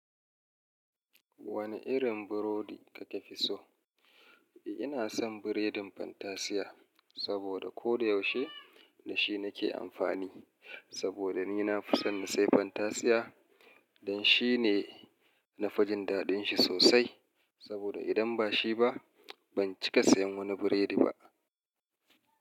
Wane irin burodi kake fi so? Ina son biredin Fantasiya saboda koyaushe da shi nake amfani. Saboda ni na fi son na sai Fantasiya dan shi ne na fijin dadin shi sosai. Saboda idan ba shi ba, ban cika sayan wani biredi ba.